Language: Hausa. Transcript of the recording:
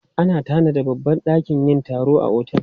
Ana tanada babbar dakin yin taro a otel.